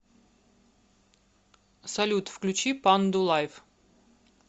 салют включи панду лайв